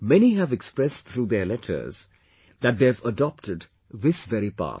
Many have expressed through their letters that they have adopted this very path